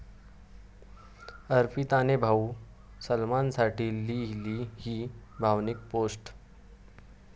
अर्पिताने भाऊ सलमानसाठी लिहिली 'ही' भावनिक पोस्ट!